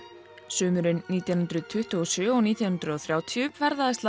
sumarið nítján hundruð tuttugu og sjö og nítján hundruð og þrjátíu ferðaðist